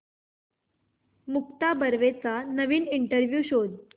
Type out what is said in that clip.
मुक्ता बर्वेचा नवीन इंटरव्ह्यु शोध